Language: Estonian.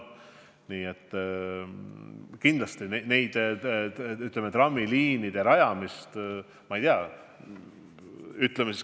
Nii et kindlasti ma trammiliinide rajamist toetan.